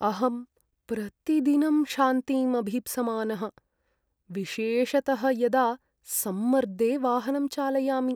अहं प्रतिदिनं शान्तिम् अभीप्समानः, विशेषतः यदा सम्मर्दे वाहनं चालयामि।